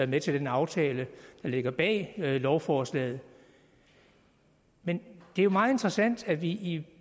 med til den aftale der ligger bag lovforslaget men det er jo meget interessant at vi